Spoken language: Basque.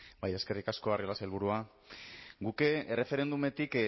eskerrik asko arriola sailburua guk erreferendumetik